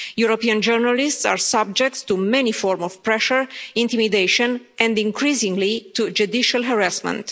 European journalists are subject to many forms of pressure, intimidation and, increasingly, to judicial harassment.